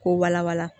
K'o walawala